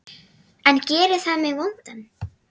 En gerir það mig vondan?